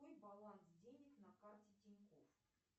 какой баланс денег на карте тинькофф